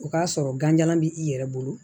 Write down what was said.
O k'a sɔrɔ ganjalan b'i yɛrɛ bolo